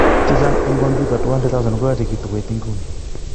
Chechang en kompyuta 200,000 koyachekitu koit inguni.